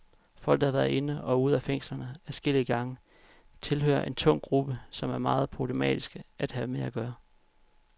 Folk, der har været inde og ude af fængslerne adskillige gange, tilhører en tung gruppe, som er meget problematiske at have med at gøre.